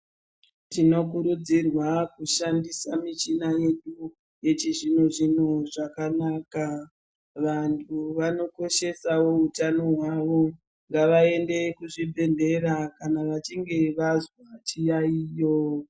Tinokurudzirwa kushandisa michina yedu yechizvino zvino zvakanaka. Vantu vanokoshesawo utano hwawo ngavaende kuchibhedhlera kana vachinge vazwa chiyaiyo.